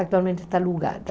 Atualmente está alugada.